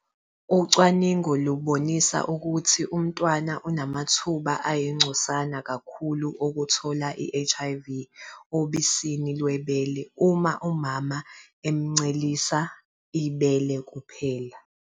Ucwaningo lubonise ukuthi umntwana unamathuba ayingcosana kakhulu okuthola i-HIV obisini lwebele uma umama emuncelisa ibele kuphela.